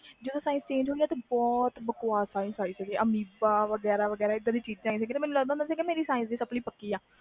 ਜਦੋ science chnage ਆ ਸੀ ਬਹੁਤ ਬਕਵਾਸ ਆ ਸੀ ਮੈਨੂੰ ਲਗਦਾ ਸੀ ਕਿ science ਮੇਰੀ sapply ਦੀ ਪੱਕੀ ਆ